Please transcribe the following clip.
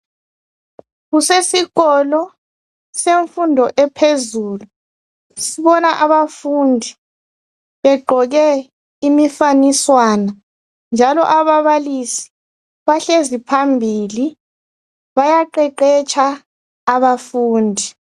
Kusesikolo semfundo ephezulu sibona abafundi begqoko imifaniswana njalo ababalisi bahlezi phambili bayaqeqetsha abafundi.